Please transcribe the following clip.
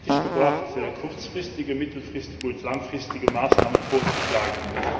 Er hat es fertig gebracht, kurzfristige, mittelfristige und langfristige Maßnahmen vorzuschlagen.